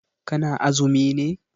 Ka na azumi ne?